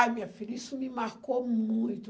Ah, minha filha, isso me marcou muito.